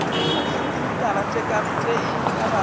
disentimetara tše e ka bago